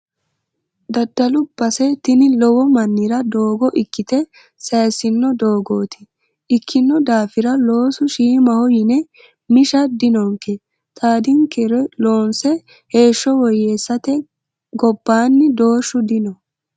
Daddalu base tini lowo mannira doogo ikkite sayisino doogoti ikkino daafira loosu shiimaho yine misha dinonke xaadinkere loonse heeshsho woyyeessate gobbanni doorshu dino.